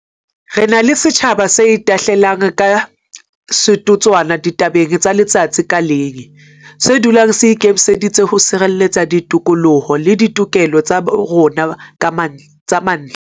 Re na le setjhaba se itahlelang ka setotswana ditabeng tsa letsatsi ka leng, se dulang se ikemiseditse ho sireletsa ditokoloho le ditokelo tsa rona tsa mantlha.